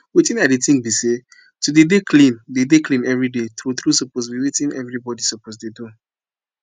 wetin i dey think bi say to dey dey clean dey dey clean everyday true true suppose bi wetin everybody suppose dey do